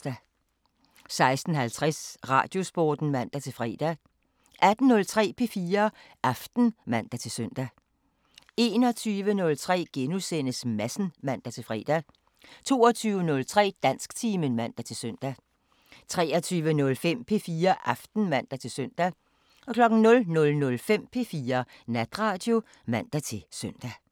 16:50: Radiosporten (man-fre) 18:03: P4 Aften (man-søn) 21:03: Madsen *(man-fre) 22:03: Dansktimen (man-søn) 23:05: P4 Aften (man-søn) 00:05: P4 Natradio (man-søn)